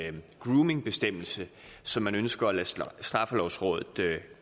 en groomingbestemmelse som man ønsker at lade straffelovrådet